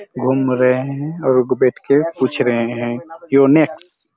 घूम रहे है और और बैठ कर पूछ रहे है युनेक्स